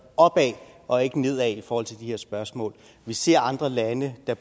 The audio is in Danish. opad og ikke nedad i forhold til de her spørgsmål vi ser andre lande der